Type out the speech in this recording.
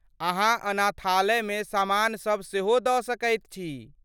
अहाँ अनाथालयमे सामान सब सेहो दऽ सकैत छी।